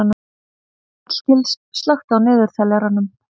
Hallgils, slökktu á niðurteljaranum.